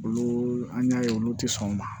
Olu an y'a ye olu tɛ sɔn o ma